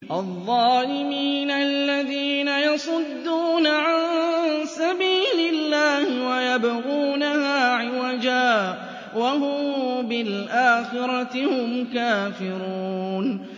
الَّذِينَ يَصُدُّونَ عَن سَبِيلِ اللَّهِ وَيَبْغُونَهَا عِوَجًا وَهُم بِالْآخِرَةِ هُمْ كَافِرُونَ